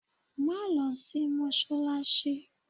Má lọ sí mọ́ṣáláṣí.